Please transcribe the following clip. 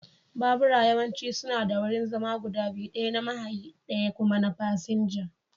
Babura yawanci suna da wurin zama guda biyu, ɗaya na mahayi ɗaya kuma na fasinja.